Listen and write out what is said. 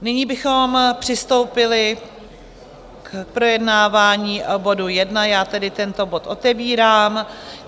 Nyní bychom přistoupili k projednávání bodu 1, já tedy tento bod otevírám.